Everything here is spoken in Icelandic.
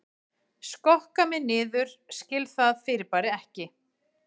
Skokka mig niður skil það fyrirbæri ekki